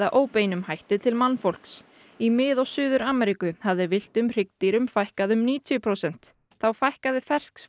óbeinum hætti til mannfólks í Mið og Suður Ameríku hafði villtum hryggdýrum fækkað um níutíu prósent þá fækkaði